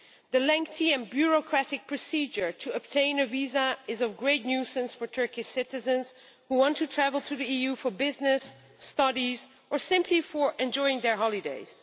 The lengthy and bureaucratic procedure to obtain a visa is of great nuisance for Turkish citizens who want to travel to the EU for business, studies or simply for enjoying their holidays.